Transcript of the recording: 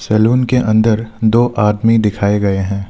Salon के अंदर दो आदमी दिखाए गए हैं।